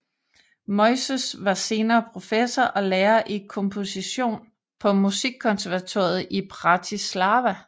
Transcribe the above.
Moyzes var senere professor og lærer i komposition på Musikkonservatoriet i Bratislava